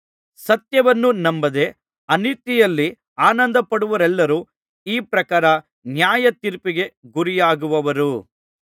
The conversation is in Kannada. ಸತ್ಯವನ್ನು ನಂಬದೆ ಅನೀತಿಯಲ್ಲಿ ಆನಂದಪಡುವವರೆಲ್ಲರೂ ಈ ಪ್ರಕಾರ ನ್ಯಾಯತೀರ್ಪಿಗೆ ಗುರಿಯಾಗುವರು